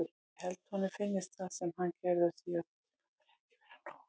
Ég held að honum finnist það sem hann gerði á síðasta tímabili ekki vera nóg.